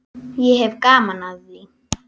Ég hef gaman af því.